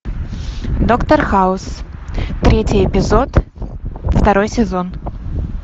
доктор хаус третий эпизод второй сезон